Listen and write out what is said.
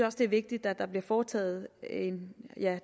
også det er vigtigt at der bliver foretaget